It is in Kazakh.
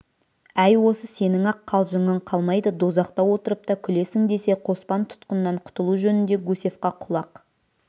әй осы сенің-ақ қалжыңың қалмайды дозақта отырып та күлесің десе қоспан тұтқыннан құтылу жөнінде гусевқа құлақ